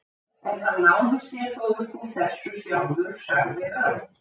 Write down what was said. En hann náði sér þó upp úr þessu sjálfur, sagði Örn.